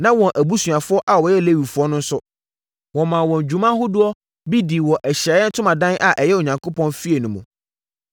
Na wɔn abusuafoɔ a wɔyɛ Lewifoɔ no nso, wɔmaa wɔn dwuma ahodoɔ bi dii wɔ Ahyiaeɛ Ntomadan a ɛyɛ Onyankopɔn fie no mu.